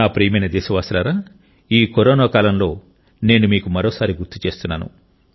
నా ప్రియమైన దేశవాసులారా ఈ కరోనా కాలంలో నేను మీకు మరోసారి గుర్తు చేస్తున్నాను